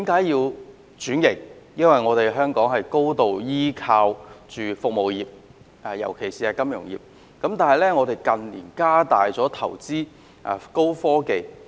因為香港高度依靠服務業，尤其是金融業，但香港近年亦加大投資高科技產業。